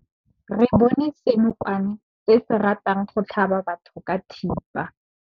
Re bone senokwane se se ratang go tlhaba batho ka thipa.